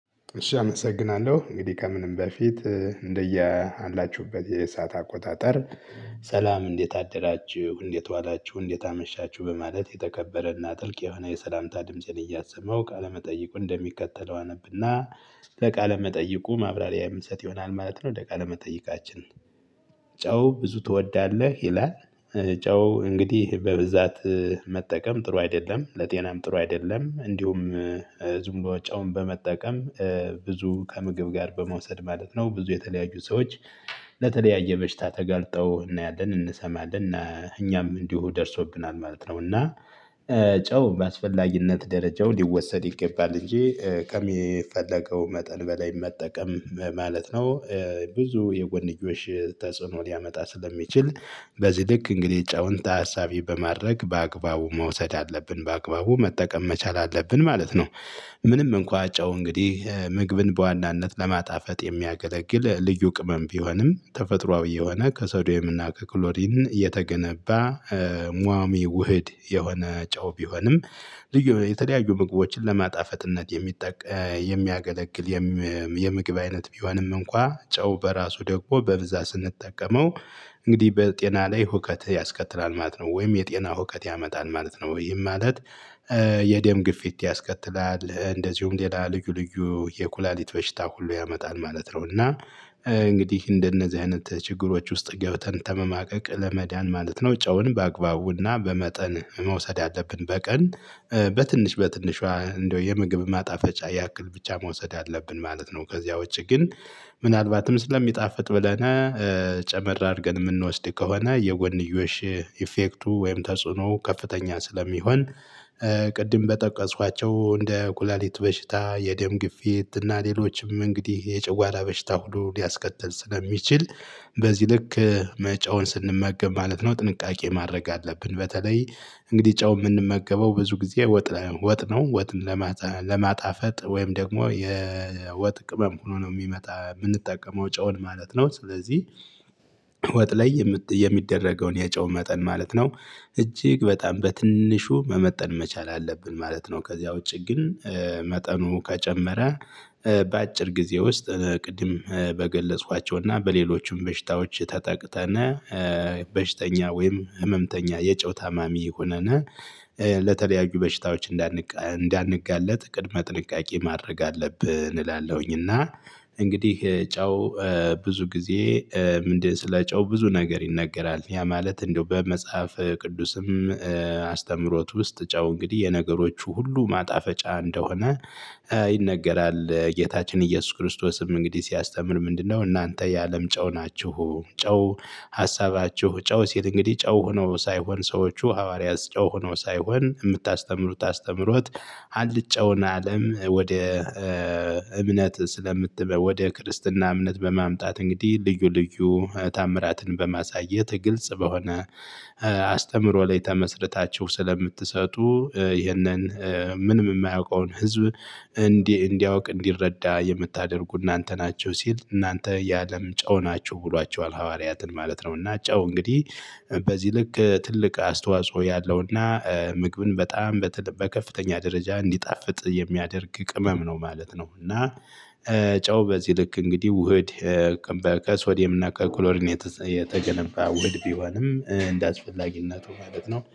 እሺ አመሰግናለሁ እንግዲህ ከምንም በፊት እንደያላችሁበት የሰዓት አቆጣጠር። ሰላም እንዴት አደራችሁ እንዴት ዋላችሁ እንዴት አመሻችሁ በማለት የተከበረና ጥልቅ የሆነ የሰላምታ ድምፄን እያሰማው ቃለመጠይቁን እንደሚከተለው አነብና። ለቃለመጠይቁ ማብራሪያ ምሰጥ ይሆናል ማለት ነው። ለቃለመጠይቃችን ጨው ብዙ ትወዳለህ ይላል? ጨው እንግዲህ በብዛት መጠቀም ጥሩ አይደለም ለጤናም ጥሩ አይደለም እንዲሁም። ዝም ብሎ ጨውን በመጠቀም ብዙ ከምግብ ጋር በመውሰድ ማለት ነው። ብዙ የተለያዩ ሰዎች ለተለያየ በሽታ ተጋልጠው እናያለን እንሰማለን። እኛም እንዲሁ ደርሶብናል ማለት ነው። እና ጨው በአስፈላጊነት ደረጃው ሊወሰድ ይገባል። እንጂ ከሚፈለገው መጠን በላይ መጠቀም ማለት ነው። ብዙ የጎንዮሽ ተጽዕኖ ሊያመጣ ስለሚችል። በዚህ ልክ እንግዲህ ጨውንታ ታሳቢ በማድረግ በአግባቡ መውሰድ አለብን በአግባቡ መጠቀም መቻል አለብን ማለት ነው። ምንም እንኳን ጨው እንግዲህ ምግብን በዋናነት ለማጣፈጥ የሚያገለግል ልዩ ቅመም ቢሆንም ተፈጥሮአዊ የሆነ ከሶድየምና ከክሎሪን የተገነባ ሟሚ ውህድ የሆነ ጨው ቢሆንም። የተለያዩ ምግቦችን ለማጣፈጥነት የሚያገለግል። የምግብ አይነት ቢሆንም እንኳን ጨው በራሱ ደግሞ በብዛት ስንጠቀመው እንግዲህ በጤና ላይ ሁከት ያስከትላል ማለት ነው። ወይም የጤና ሁከት ያመጣል ማለት ነው። ይህም ማለት የደም ግፊት ያስከትላል። እንደዚሁም ሌላ ልዩ ልዩ የኩላሊት በሽታ ሁሉ ያመጣል ማለት ነው። እና እንግዲህ እንደነዚህ አይነት ችግሮች ውስጥ ገብተን ተመማቀቅ ለመዳን ማለት ነው። ጨውን በአግባቡና በመጠን መውሰድ አለብን በቀን በትንሽ በትንሿ እንደው የምግብ ማጣፈጫ ያክል ብቻ መውሰድ አለብን ማለት ነው። ከዚያ ውጪ ግን ምናልባትም ስለሚጣፍጥ ብለን ጨመር አድርገን የምንወስድ ከሆነ የጎንዮሽ ኢፌክቱ ወይም ተጽዕኖ ከፍተኛ ስለሚሆን። ቅድም በጠቀሷቸው እንደ ኩላሊት በሽታ የደም ግፊት እና ሌሎችም እንግዲህ የጨጓራ በሽታ ሁሉ ሊያስከትል ስለሚችል። በዚህ ልክ ጨውን ስንመገብ ማለት ነው ጥንቃቄ ማድረግ አለብን። በተለይ እንግዲህ ጨው የምንመገበው ብዙ ጊዜ ወጥ ወጥ ነው ወጥ ለማጣፈጥ ወይም ደግሞ የወጥ ቅመም ሆኖ ነው የሚመጣ የምንጠቀመው ጨውን ማለት ነው። ስለዚህ ወጥ ላይ የሚደረገውን የጨው መጠን ማለት ነው። እጅግ በጣም በትንሹ መመጠን መቻል አለብን ማለት ነው። ከዚያ ውጪ ግን መጠኑ ከጨመረ በአጭር ጊዜ ውስጥ ቅድም በገለጽኳቸውና በሌሎችም በሽታዎች ተጠቅተና በሽተኛ ወይም ህመምተኛ የጨው ታማሚ ሁነን ለተለያዩ በሽታዎች እንዳንጋለጥ ቅድመ ጥንቃቄ ማድረግ አለብን። እላለሁኝ። እና እንግዲህ ጨው ብዙ ጊዜ ምንድን ስለ ጨው ብዙ ነገር ይነገራል። ያ ማለት እንደው በመጽሐፍ ቅዱስም አስተምህሮት ውስጥ ጨው እንግዲህ የነገሮቹ ሁሉ ማጣፈጫ እንደሆነ ይነገራል። ጌታችን ኢየሱስ ክርስቶስም እንግዲህ ሲያስተምር ምንድነው እናንተ የአለም ጨው ናችሁ። ጨው ሀሳባችሁ ጨው ሲል እንግዲህ ጨው ሆኖ ሳይሆን ሰዎቹ ሐዋርያት ጨው ሆኖ ሳይሆን የምታስተምሩት አስተምሮት። አልጨውን አለም ወደ እምነት ስለምትል ወደ ክርስትና እምነት በማምጣት እንግዲህ ልዩ ልዩ ተአምራትን በማሳየት ግልጽ በሆነ አስተምሮ ላይ ተመስርታችሁ ስለምትሰጡ። ይህንን ምንም የማያውቀውን ህዝብ እንዲህ እንዲያውቅ እንዲረዳ የምታደርጉ እናንተ ናችሁ። ሲል እናንተ የአለም ጨው ናቸው ብሏቸዋል ሐዋርያትን ማለት ነው። እና ጨው እንግዲህ በዚህ ልክ ትልቅ አስተዋጽኦ ያለውና ምግብን በጣም በከፍተኛ ደረጃ እንዲጣፍጥ የሚያደርግ ቅመም ነው ማለት ነው። እና ጨው በዚህ ልክ እንግዲህ ውህድ በል ከሶድየም እና ከክሎሪን የተገነባ ውድህድ ቢሆንም እንደአስፈላጊነቱ ማለት ነው